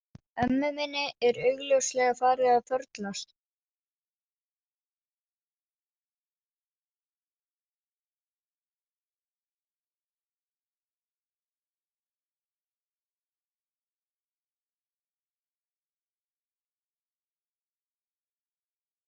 Ömmu minni er augljóslega farið að förlast.